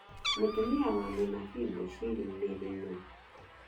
Mũtumia wa mũnabii Bushiri Mary nũ?